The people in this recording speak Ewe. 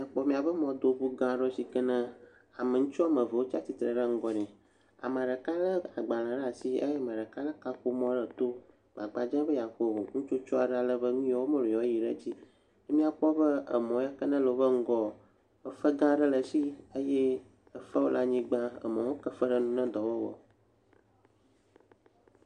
Kpɔ m]aƒe mɔdoŋugã aɖe si ke ne ame ŋutsu wɔme eve wotsi atistre ɖe ŋgɔ nɛ. Ame ɖeka le agbale ɖe asi eye ame ɖeka le kaƒomɔ ɖe eto agbagba dzem be yeaxɔ nutsotso aɖe ale be nuyawo wɔm wole yewɔa yi ɖe edzi. M]akpɔ be emɔ yakene le wo ƒe ŋgɔ efe gã aɖe le esi eye efewo le anyigba. Emɔwo heke efe ɖe nu hena edɔ wɔwɔ.